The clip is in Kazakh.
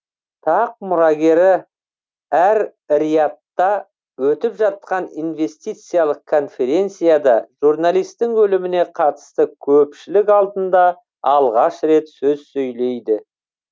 тақ мұрагері әр риядта өтіп жатқан инвестициялық конференцияда журналистің өліміне қатысты көпшілік алдында алғаш рет сөз сөйлейді